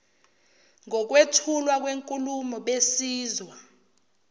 ngokwethulwa kwenkulumo besizwa